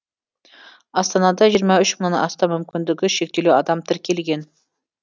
астанада жиырма үш мыңнан астам мүмкіндігі шектеулі адам тіркелген